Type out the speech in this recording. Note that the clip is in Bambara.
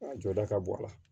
A jɔda ka bɔ a la